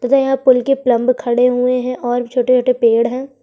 तथा यहाँ पूल के प्लंब भी खड़े हुए है और छोटे-छोटे पेड़ है।